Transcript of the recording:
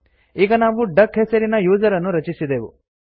ಈಗ ನಾವು ಡಕ್ ಹೆಸರಿನ ಯೂಸರ್ ಅನ್ನು ರಚಿಸಿದೆವು